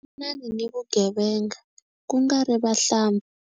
Lwanani ni vugevenga ku nga ri vahlampfa.